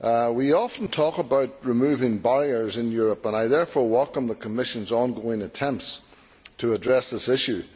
We often talk about removing barriers in Europe, and I therefore welcome the Commission's ongoing attempts to address this issue.